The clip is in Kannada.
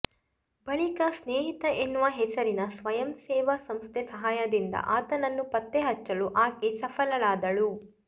ಬಳಿಕ ಸ್ನೇಹಿತ ಎನ್ನುವ ಹೆಸರಿನ ಸ್ವಯಂ ಸೇವಾ ಸಂಸ್ಥೆ ಸಹಾಯದಿಂದ ಆತನನ್ನು ಪತ್ತೆ ಹಚ್ಚಲು ಆಕೆ ಸಫಲಳಾದಳು